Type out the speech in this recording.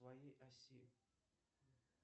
своей оси